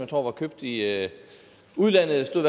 tror var købt i udlandet der stod